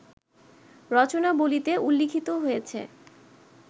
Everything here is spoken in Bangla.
রচনাবলিতে উল্লিখিত হয়েছে